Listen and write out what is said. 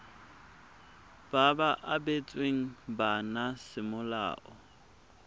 ba ba abetsweng bana semolao